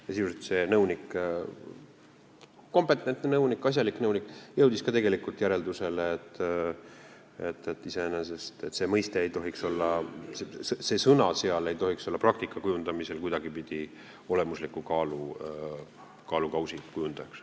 Sisuliselt jõudis ka see nõunik, kompetentne, asjalik nõunik, järeldusele, et iseenesest see mõiste, see sõna seal ei tohiks olla praktika kujundamisel kuidagipidi olemuslikuks kaalukausiks.